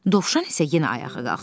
Dovşan isə yenə ayağa qalxdı.